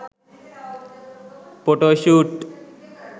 photo shoot